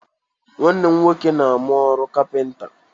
Nwanne m nwoke na-amụ ọrụ kapịnta.